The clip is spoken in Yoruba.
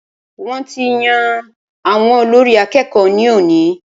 Wọ́n ti yan àwọn olórí àkẹ́kọ̀ọ ní òní.